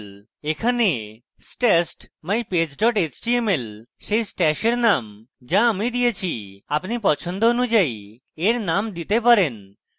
এখানে stashed mypage html সেই stash এর name যা আমি দিয়েছি আপনি পছন্দ অনুযায়ী এর name দিতে পারেন